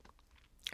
TV 2